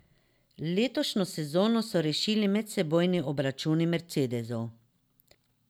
Letošnjo sezono so rešili medsebojni obračuni mercedesov.